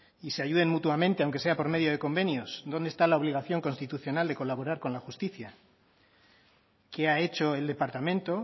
y se ayuden mutuamente aunque sea por medio de convenios dónde está la obligación constitucional de colaborar con la justicia qué ha hecho el departamento o